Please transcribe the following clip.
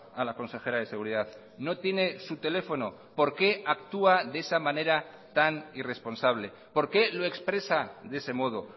a la consejera de seguridad no tiene su teléfono por qué actúa de esa manera tan irresponsable por qué lo expresa de ese modo